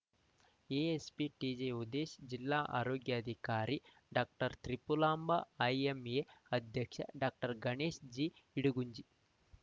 ASP T J Udesh ಜಿಲ್ಲಾ ಆರೋಗ್ಯಾಧಿಕಾರಿ doctor Tripulamba IMA ಅಧ್ಯಕ್ಷ ಡಾಕ್ಟರ್ ಗಣೇಶ ಸಿಇಡಗುಂಜಿ